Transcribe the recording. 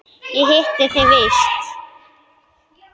Ég hitti þig víst!